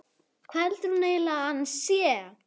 Hvað heldur hún eiginlega að hann sé!